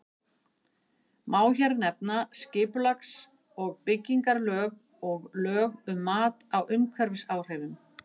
Má hér nefna skipulags- og byggingarlög og lög um mat á umhverfisáhrifum.